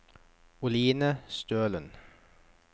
Oline Stølen